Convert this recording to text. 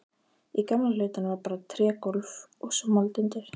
Í gamla hlutanum var bara trégólf og svo mold undir.